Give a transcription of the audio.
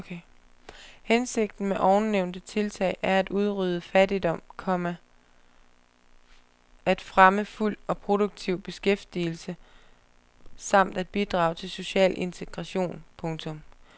Hensigten med ovennævnte tiltag er at udrydde fattigdom, komma at fremme fuld og produktiv beskæftigelse samt at bidrage til social integration. punktum